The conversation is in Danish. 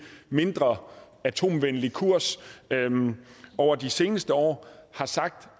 mindre atomvenlig kurs over de seneste år har sagt